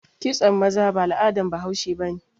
Kitson maza ba al'adan bahaushe ba ne.